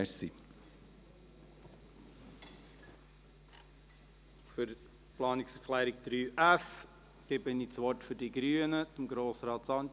Für die Planungserklärung 3f erteile ich das Wort für die Grünen Grossrat Sancar.